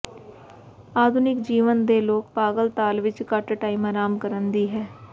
ਆਧੁਨਿਕ ਜੀਵਨ ਦੇ ਲੋਕ ਪਾਗਲ ਤਾਲ ਵਿੱਚ ਘੱਟ ਟਾਈਮ ਆਰਾਮ ਕਰਨ ਦੀ ਹੈ